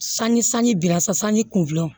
Sanji sanji bira sa sanji kunna